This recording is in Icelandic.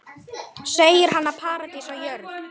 Segir hana paradís á jörð.